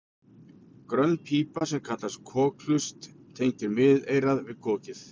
grönn pípa sem kallast kokhlust tengir miðeyrað við kokið